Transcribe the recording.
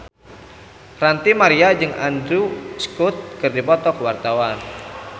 Ranty Maria jeung Andrew Scott keur dipoto ku wartawan